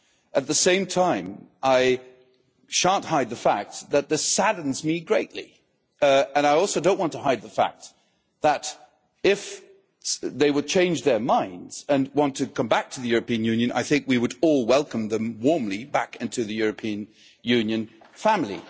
At the same time, I shan't hide the fact that this saddens me greatly, and I also do not want to hide the fact that if they change their minds and want to come back to the European Union, I think we would all welcome them warmly back into the European Union family.